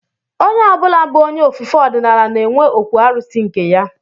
Onye ọ bụla bụ onye ofufe ọdịnala na-enwe okwu arụsị nke ya